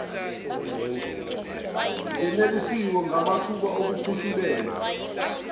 ngenelisiwe ngamathuba okukhushulelwa